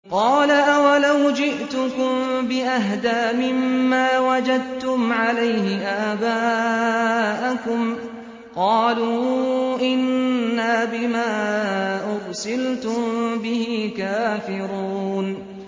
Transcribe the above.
۞ قَالَ أَوَلَوْ جِئْتُكُم بِأَهْدَىٰ مِمَّا وَجَدتُّمْ عَلَيْهِ آبَاءَكُمْ ۖ قَالُوا إِنَّا بِمَا أُرْسِلْتُم بِهِ كَافِرُونَ